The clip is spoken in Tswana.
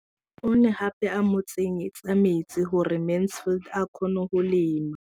O ne gape a mo tsenyetsa metsi gore Mansfield a kgone go lema.